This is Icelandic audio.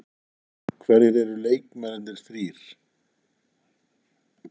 Hverjir eru leikmennirnir þrír?